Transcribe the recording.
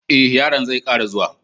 eh, yaron zai Kara zuwa.